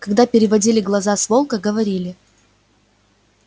когда переводили глаза с волка говорили